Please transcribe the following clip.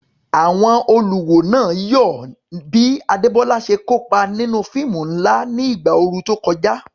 Àwọn olùwò náà yọ̀ bí Adebola ṣe kópa nínú fíìmù ńlá ní ìgbà ooru tó kọjá.